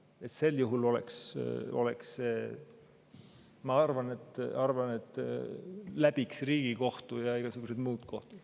Ma arvan, et sel juhul läbiks Riigikohtu ja igasugused muud kohtud.